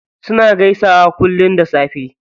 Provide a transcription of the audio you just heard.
Suna gaisawa kullum da safe.